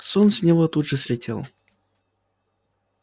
сон с него тут же слетел